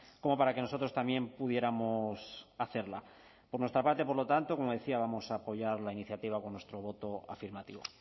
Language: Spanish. como para que nosotros también pudiéramos hacerla por nuestra parte por lo tanto como decía vamos a apoyar la iniciativa con nuestro voto afirmativo